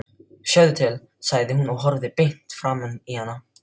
Sjáðu til, sagði hann og horfði beint framan í hana.